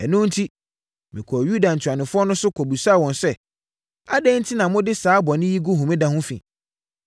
Ɛno enti, mekɔɔ Yuda ntuanofoɔ no so, kɔbisaa wɔn sɛ, “Adɛn enti na mode saa bɔne yi gu homeda ho fi?